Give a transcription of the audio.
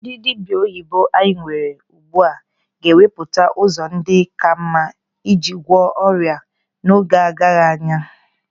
Ndị dibịa oyibo anyị nwere ugbu a ga-ewepụta ụzọ ndị ka mma iji gwọọ ọrịa n'oge agaghị anya.